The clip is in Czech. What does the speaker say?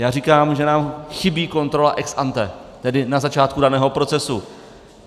Já říkám, že nám chybí kontrola ex ante, tedy na začátku daného procesu.